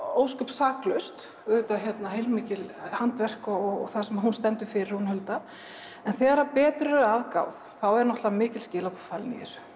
saklaust mikið handverk og það sem hún stendur fyrir hún Hulda en þegar betur er að gáð þá eru mikil skilaboð falin í þessu